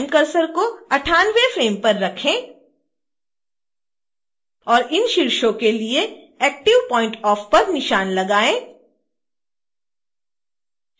time cursor को 98वें frame पर रखें और इन शीर्षों के लिए active point off पर निशान लगाएँ